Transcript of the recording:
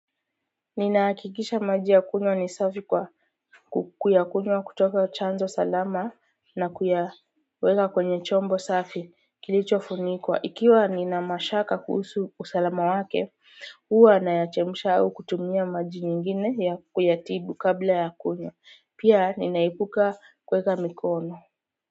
Ninahakikisha maji ya kunywa ni safi kwa kuyakunywa kutoka chanzo salama na kuyaweka kwenye chombo safi kilicho funikwa. Ikiwa nina mashaka kuhusu usalama wake, huwa na yachemsha au kutumia maji nyingine ya kuyatibu kabla ya kunywa. Pia ninaepuka kueka mikono.